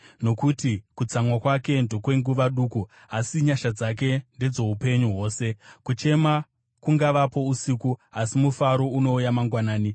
Nokuti kutsamwa kwake ndokwenguva duku, asi nyasha dzake ndedzoupenyu hwose; kuchema kungangovapo usiku. Asi mufaro unouya mangwanani.